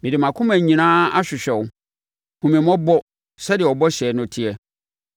Mede mʼakoma nyinaa ahwehwɛ wo; hunu me mmɔbɔ sɛdeɛ wo bɔhyɛ no teɛ.